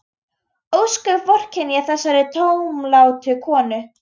Ósköp vorkenni ég þessari tómlátu konu.